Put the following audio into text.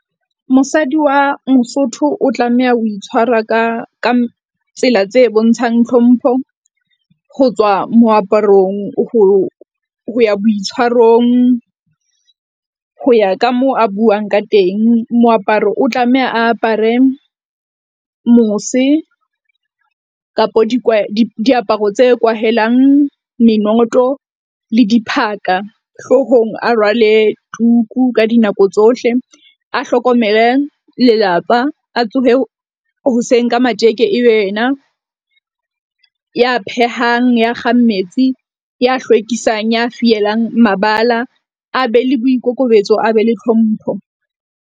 Mosadi wa Mosotho o tlameha ho itshwara ka ka tsela tse bontshang tlhompho ho tswa moaparong ho ho ya boitshwarong. Ho ya ka moo a buang ka teng, moaparo o tlameha a apare mose kapa diaparo tse kwahelang menoto le diphaka, hloohong a rwale tuku ka dinako tsohle a hlokomele lelapa a tsohe hoseng ka matjeke. Ebe yena ya phehang ya kgang metsi, ya hlwekisang, ya fielang mabala, a be le boikokobetso, a be le tlhompho.